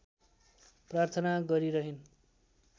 प्रार्थना गरिरहिन्